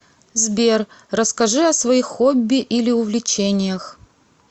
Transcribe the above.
сбер расскажи о своих хобби или увлечениях